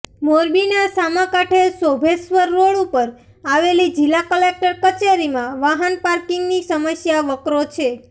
મોરબીના સામાકાંઠે શોભેશ્ર્વર રોડ ઉપર આવેલી જિલ્લા કલેક્ટર કચેરીમાં વાહન પાર્કિંગની સમસ્યા વકરો છે